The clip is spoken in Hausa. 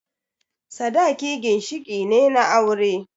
Sadaki ginshiƙi ne na aure